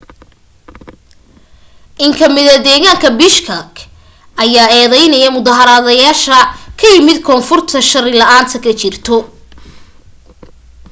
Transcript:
in kamida deeganka bishkek ayaa eedeynaya mudaaharadlayaasah ka yimid koonfurta shari la'aanta ka jirto